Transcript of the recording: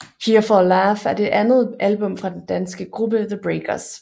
Here For A Laugh er det andet album fra den danske gruppe The Breakers